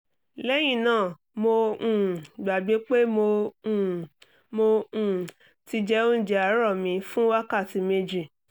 lẹ́yìn náà mo um gbàgbé pé mo um mo um ti jẹ́ oúnjẹ àárọ̀ mi fún wákàtí méjì